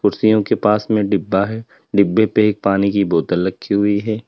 कुर्सियों के पास में डिब्बा है डिब्बे पे एक पानी की बोतल रखी हुई है।